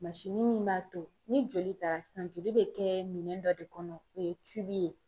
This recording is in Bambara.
minsini min b'a to ni joli taara sisan joli be kɛ minɛn dɔ de kɔnɔ o ye tibu ye